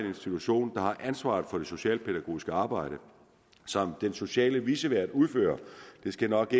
institution der har ansvaret for det socialpædagogiske arbejde som den sociale vicevært udfører det skal nok